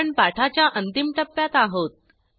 आपण पाठाच्या अंतिम टप्प्यात आहोत